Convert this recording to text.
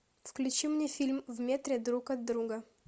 включи мне фильм в метре друг от друга